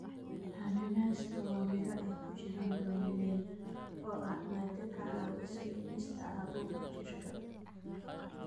Cananaaska waa miro ay ku jiraan bromelain, oo ah maado ka caawisa dhimista caabuqa jirka.